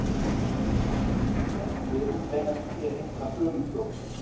Flest lyfin beinast að því að hindra frumufjölgun.